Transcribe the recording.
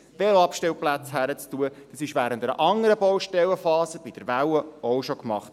Das wurde bei der Welle während einer anderen Baustellenphasen auch schon gemacht.